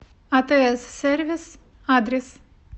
атс сервис адрес